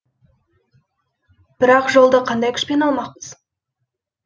бірақ жолды қандай күшпен алмақпыз